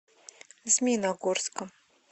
змеиногорска